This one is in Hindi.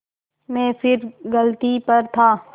मैं फिर गलती पर था